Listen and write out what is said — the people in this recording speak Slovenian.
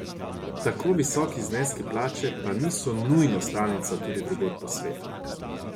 Tako visoki zneski plače pa niso nujno stalnica tudi drugod po svetu.